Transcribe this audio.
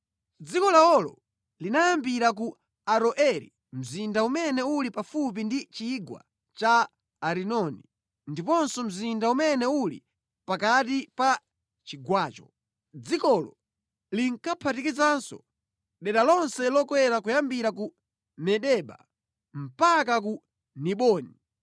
Dziko lawolo linayambira ku Aroeri mzinda umene uli pafupi ndi chigwa cha Arinoni, ndiponso mzinda umene uli pakati pa chigwacho. Dzikolo linkaphatikizanso dera lonse lokwera kuyambira ku Medeba mpaka ku Diboni.